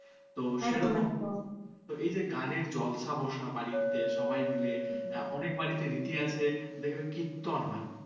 অনেক বাড়িতে রীতি আছে দেখবে কীর্তন হয়।